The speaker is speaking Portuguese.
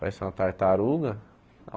Parece uma tartaruga.